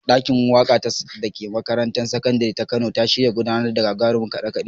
Ɗakin waƙa da ke makarantar sakandire ta Kano an shirya gudanar da gagarumin kaɗe-kaɗe